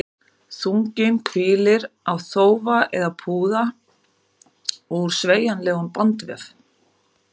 Þunginn hvílir á þófa eða púða úr sveigjanlegum bandvef.